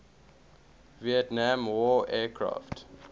vietnam war aircraft